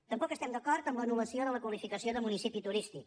tampoc estem d’acord amb l’anul·lació de la qualificació de municipi turístic